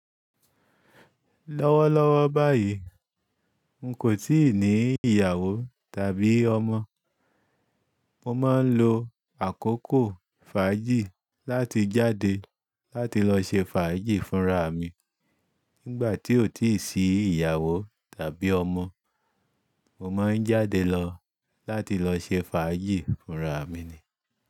Lọ́wọ́lọ́wọ́ báyìí, n kò tíì ní ìyàwó tàbí ọmọ. Mo máa ń lo àkókò fàájì láti jáde láti lọ ṣe fàájì fúnra mi. Nígbà tí o ti sì ìyàwó tàbí ọmọ, mo máa ń jáde lọ láti lọ ṣe fàájì fúnra mi ni.